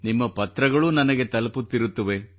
ನಿಮ್ಮ ಪತ್ರಗಳೂ ನನಗೆ ತಲುಪುತ್ತಿರುತ್ತವೆ